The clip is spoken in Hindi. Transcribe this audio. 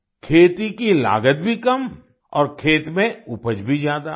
खेती की लागत भी कम और खेत में उपज भी ज्यादा